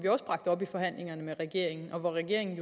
vi forhandlingerne med regeringen og regeringen